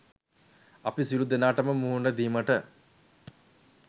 අපි සියලූ දෙනාටම මුහුණ දීමට